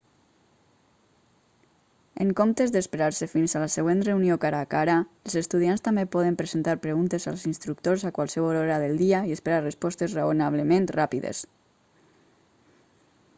en comptes d'esperar-se fins a la següent reunió cara a cara els estudiants també poden presentar preguntes als instructors a qualsevol hora del dia i esperar respostes raonablement ràpides